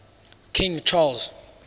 king charles